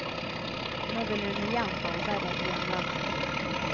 Nå vil hun igjen arbeide i hjemlandet.